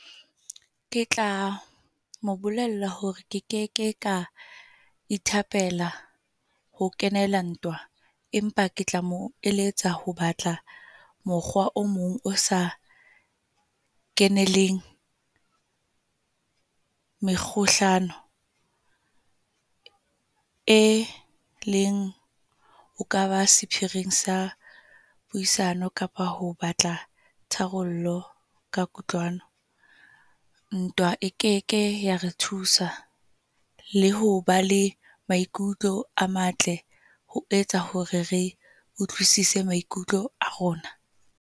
Ke tla mo bolella hore ke ke ke ka ithapela ho kenela ntwa. Empa ke tla mo eletsa ho batla mokgwa o mong o sa keneleng mekgohlano. E leng o kaba sephiring sa puisano kapa ho batla tharollo ka kutlwano. Ntwa e keke ya re thusa, le ho ba le maikutlo a matle ho etsa hore re utlwisise maikutlo a rona.